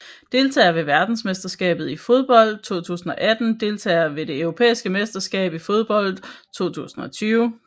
Deltagere ved verdensmesterskabet i fodbold 2018 Deltagere ved det europæiske mesterskab i fodbold 2020